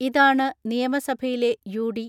ഇതാണ് നിയമസഭയിലെ യു.ഡി.